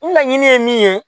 N laɲini ye min ye